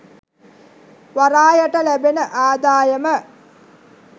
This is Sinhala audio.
වරායට ලැබෙන ආදායම